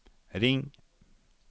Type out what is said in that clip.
ring